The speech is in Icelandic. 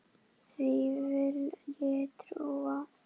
Því vil ég trúa!